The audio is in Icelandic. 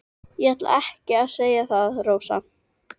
En ég ætlaði ekki að segja það, Rósa.